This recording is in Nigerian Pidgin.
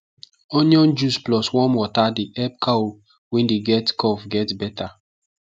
onion juice plus warm water dey help cow wey dey cough get better